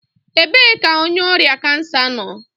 Ebee ka onye ọrịa kansa nọ?